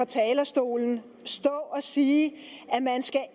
talerstolen og sige at man